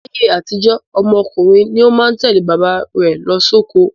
Láyé àtijó, ọmọ ọkùnrin ni ó má ń tẹ̀lé bàbá rẹ̀ lọ sóko.